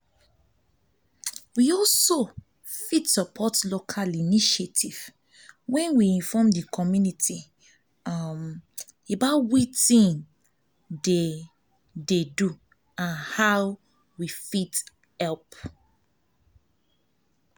we fit support local initiative when we inform di community um about wetin um dey and how dem fit help